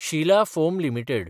Shila foam limited